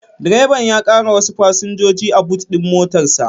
Direban ya ƙara wasu fasinjoji a bot din motar sa